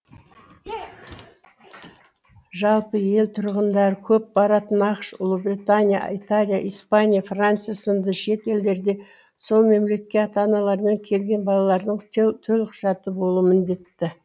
жалпы ел тұрғындары көп баратын ақш ұлыбритания италия испания франция сынды шет елдерде сол мемлекет ата аналарымен келген балалардың төлқұжаты болуы міндетті